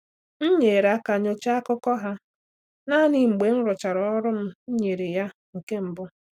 M nyere aka nyochaa akụkọ ha naanị mgbe m rụchara ọrụ m nyere ya nke mbụ.